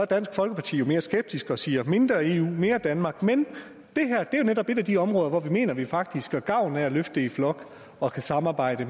dansk folkeparti mere skeptisk og siger mindre eu mere danmark men det her er netop et af de områder hvor vi mener at vi faktisk får gavn af at løfte i flok og samarbejde